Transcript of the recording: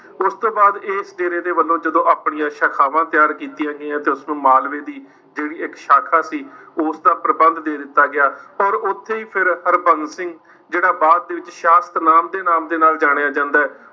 ਉਸਤੋਂ ਬਾਅਦ ਇਸ ਡੇਰੇ ਦੇ ਵੱਲੋਂ ਜਦੋਂ ਆਪਣੀਆਂ ਸਾਖਾਵਾਂ ਤਿਆਰ ਕੀਤੀਆਂ ਗਈਆਂ ਤਾ ਉਸਨੂੰ ਮਾਲਵੇ ਦੀ ਜਿਹੜੀ ਇੱਕ ਸਾਖਾ ਸੀ, ਉਸਦਾ ਪ੍ਰਬੰਧ ਦੇ ਦਿੱਤਾ ਗਿਆ ਔਰ ਉੱਥੇ ਵੀ ਫਿਰ ਹਰਬੰਸ ਸਿੰਘ ਜਿਹੜਾ ਬਾਅਦ ਦੇ ਵਿੱਚ ਨਾਮ ਦੇ ਨਾਲ ਜਾਣਿਆ ਜਾਂਦਾ ਹੈ।